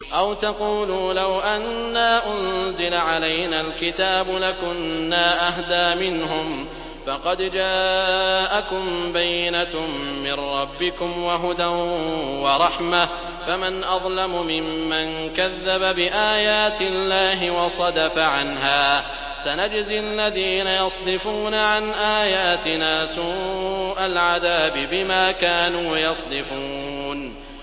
أَوْ تَقُولُوا لَوْ أَنَّا أُنزِلَ عَلَيْنَا الْكِتَابُ لَكُنَّا أَهْدَىٰ مِنْهُمْ ۚ فَقَدْ جَاءَكُم بَيِّنَةٌ مِّن رَّبِّكُمْ وَهُدًى وَرَحْمَةٌ ۚ فَمَنْ أَظْلَمُ مِمَّن كَذَّبَ بِآيَاتِ اللَّهِ وَصَدَفَ عَنْهَا ۗ سَنَجْزِي الَّذِينَ يَصْدِفُونَ عَنْ آيَاتِنَا سُوءَ الْعَذَابِ بِمَا كَانُوا يَصْدِفُونَ